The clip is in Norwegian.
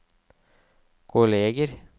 kolleger